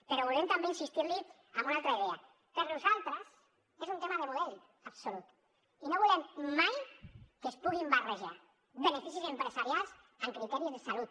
però volem també insistir li en una altra idea per nosaltres és un tema de model absolut i no volem mai que es puguin barrejar beneficis empresarials amb criteris de salut